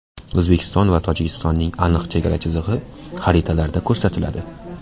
O‘zbekiston va Tojikistonning aniq chegara chizig‘i xaritalarda ko‘rsatiladi.